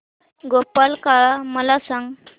गोपाळकाला मला सांग